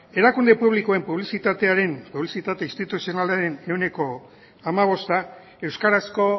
erakunde publikoen publizitatearen publizitate instituzionalaren ehuneko hamabosta euskarazko